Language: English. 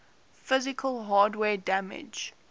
physical hardware damage